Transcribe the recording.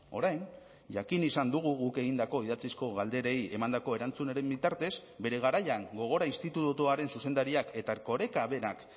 orain jakin izan dugu guk egindako idatzizko galderei emandako erantzunaren bitartez bere garaian gogora institutuaren zuzendariak eta erkoreka berak